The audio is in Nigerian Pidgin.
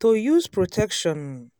to use protection um